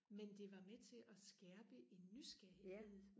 men det var med til og skærpe en nysgerrighed